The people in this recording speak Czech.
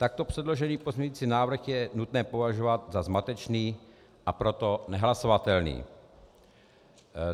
Takto předložený pozměňovací návrh je nutné považovat za zmatečný, a proto nehlasovatelný.